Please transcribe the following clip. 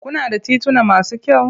Kuna da tituna masu kyau?